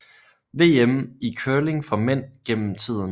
VM i curling for mænd gennem tiden